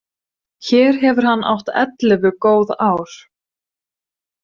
Hér hefur hann átt ellefu góð ár.